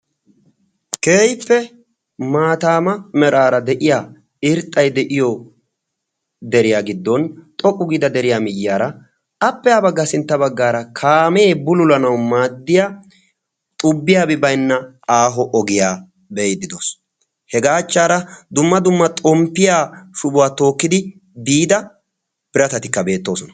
keehippe maatama meraara de'iyaa irxxay de'iyo deriya giddon xoqqu giida deriyaa miyiyyara appe ha baggara sintta baggara kaame bullulanaw maaddiyaa xubbiyaabi baynna aaho ogiyaa be'ido doos. hega achchara dumma dumma xomppiyaa shubuwaa tookkidi biida biratatika beettoosona.